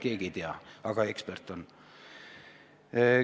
Keegi ei tea, aga ekspert ta on.